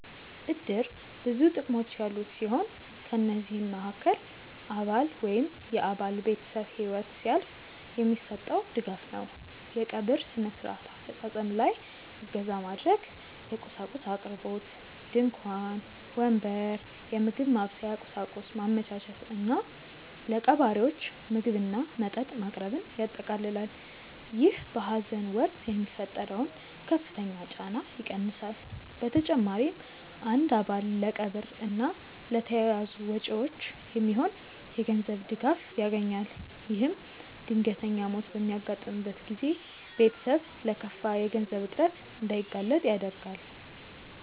እድር ብዙ ጥቅሞች ያሉት ሲሆን ከነዚህም መሃከል አባል ወይም የአባል ቤተሰብ ህይወት ሲያልፍ የሚሰጠው ድጋፍ ነው። የቀብር ስነ-ስርዓት አፈፃፀም ላይ እገዛ ማድረግ፣ የቁሳቁስ አቅርቦት (ድንኳን፣ ወንበር፣ የምግብ ማብሰያ ቁሳቁስ) ማመቻቸት እና ለቀባሪዎች ምግብና መጠጥ ማቅረብን ያጠቃልላል። ይህ በሀዘን ወቅት የሚፈጠረውን ከፍተኛ ጫና ይቀንሳል። በተጨማሪም አንድ አባል ለቀብር እና ለተያያዙ ወጪዎች የሚሆን የገንዘብ ድጋፍ ያገኛል። ይህም ድንገተኛ ሞት በሚያጋጥምበት ጊዜ ቤተሰብ ለከፋ የገንዘብ እጥረት እንዳይጋለጥ ይረዳል።